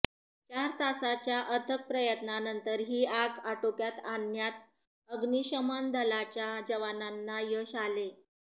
चार तासाच्या अथक प्रयत्नानंतर ही आग आटोक्यात आणण्यात अग्निशमन दलाच्या जवानाना यश आले